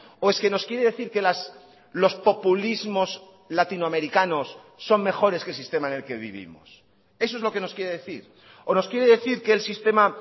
o es que nos quiere decir que los populismos latinoamericanos son mejores que el sistema en el que vivimos eso es lo que nos quiere decir o nos quiere decir que el sistema